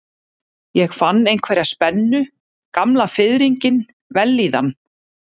Ég fann einhverja spennu, gamla fiðringinn, vellíðan.